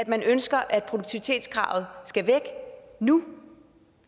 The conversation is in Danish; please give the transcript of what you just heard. man ønsker at produktivitetskravet skal væk nu